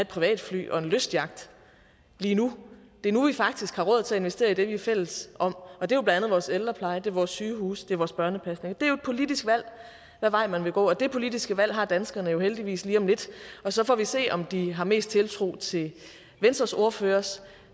privatfly og en lystyacht lige nu det er nu vi faktisk har råd til at investere i det vi er fælles om og det er jo blandt andet vores ældrepleje det er vores sygehuse det er vores børnepasning det er et politisk valg hvad vej man vil gå og det politiske valg har danskerne jo heldigvis lige om lidt og så får vi se om de har mest tiltro til venstres ordførers